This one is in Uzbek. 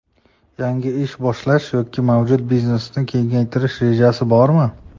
Yangi ish boshlash yoki mavjud biznesni kengaytirish rejangiz bormi?